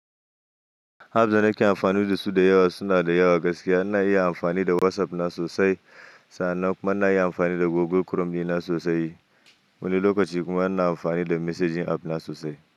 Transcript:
Apps da nake amfani da su da yawa suna da yawa gaskiya. Na iya amfani da WhatsApp na sosai, sannan kuma na iya amfani da Google Chrome dina sosai. Wani lokaci kuma ina amfani da messaging app na sosai.